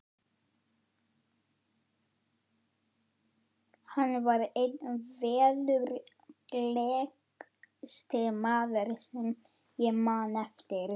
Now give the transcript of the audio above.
Þetta er önnur mynd af rennsli vatnsins en